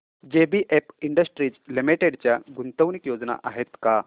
JBF industries limited च्या गुंतवणूक योजना आहेत का